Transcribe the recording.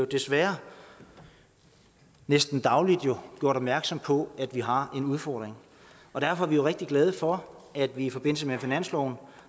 desværre næsten daglig bliver gjort opmærksom på at vi har en udfordring derfor er vi rigtig glade for at vi i forbindelse med finansloven